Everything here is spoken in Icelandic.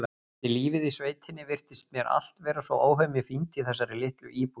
Eftir lífið í sveitinni virtist mér allt vera svo óhemju fínt í þessari litlu íbúð.